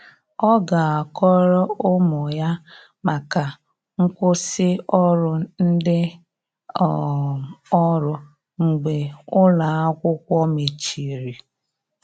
Ọ ga akọrọ ụmụ ya maka nkwụsi ọrụ ndi um ọrụ mgbe ụlọ akwụkwo mecheri.